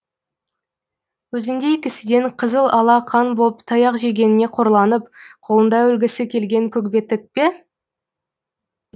өзіңдей кісіден қызыл ала қан боп таяқ жегеніне қорланып қолында өлгісі келген көкбеттік пе